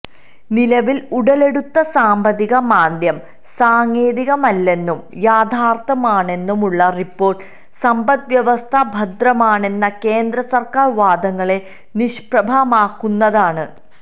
നിലവില് ഉടലെടുത്ത സാമ്പത്തിക മാന്ദ്യം സാങ്കേതികമല്ലെന്നും യാഥാര്ഥ്യമാണെന്നുമുള്ള റിപ്പോര്ട്ട് സമ്പദ് വ്യവസ്ഥ ഭദ്രമാണെന്ന കേന്ദ്ര സര്ക്കാര് വാദങ്ങളെ നിഷ്പ്രഭമാക്കുന്നതാണ്